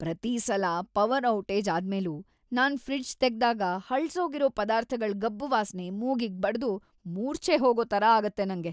ಪ್ರತೀ ಸಲ power outage ಆದ್ಮೇಲೂ ನಾನ್ ಫ್ರಿಡ್ಜ್ ತೆಗ್ದಾಗ ಹಳ್ಸೋಗಿರೋ ಪದಾರ್ಥಗಳ್‌ ಗಬ್ಬು ವಾಸ್ನೆ ಮೂಗಿಗ್‌ ಬಡ್ದು ಮೂರ್ಛೆ ಹೋಗೋ ಥರ ಆಗತ್ತೆ ನಂಗೆ.